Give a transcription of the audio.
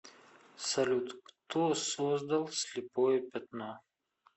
салют кто создал слепое пятно